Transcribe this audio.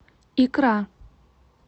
икра